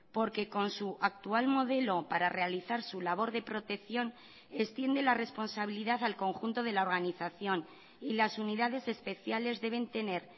porque con su actual modelo para realizar su labor de protección extiende la responsabilidad al conjunto de la organización y las unidades especiales deben tener